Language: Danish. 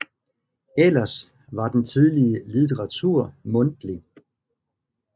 Ellers var den tidlige litteratur mundtlig